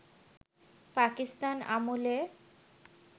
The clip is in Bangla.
পাকিস্তান আমলে